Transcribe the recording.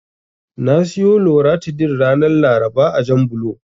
Na siyo Loratadin ranar Laraba a Janbulo.